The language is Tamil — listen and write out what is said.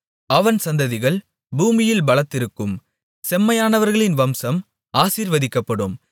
அவன் சந்ததிகள் பூமியில் பலத்திருக்கும் செம்மையானவர்களின் வம்சம் ஆசீர்வதிக்கப்படும்